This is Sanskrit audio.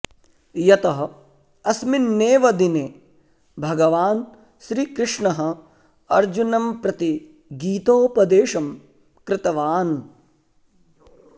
यतः अस्मिन्नेव दिने भगवान् श्रीकृष्णः अर्जुनं प्रति गीतोपदेशं कृतवान्